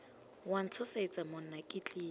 wa ntshosetsa monna ke tlile